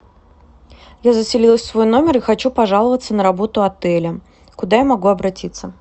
я заселилась в свой номер и хочу пожаловаться на работу отеля куда я могу обратиться